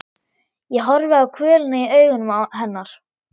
Ég horfi á kvölina í augum hennar.